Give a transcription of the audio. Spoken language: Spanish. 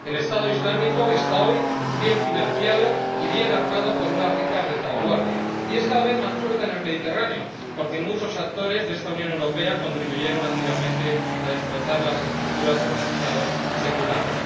El Estado Islámico está hoy bien financiado y bien armado por una rica retaguardia, y es cada vez más fuerte en el Mediterráneo porque muchos actores de esta Unión Europea contribuyeron activamente a destrozar las estructuras de los Estados seculares.